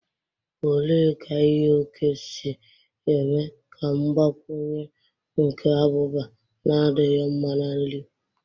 Ole ka ighe oke si eme ka mgbakwunye nke abụba na-adịghị mma na nri?